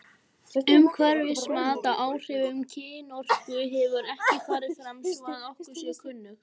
Umhverfismat á áhrifum kynorku hefur ekki farið fram svo að okkur sé kunnugt.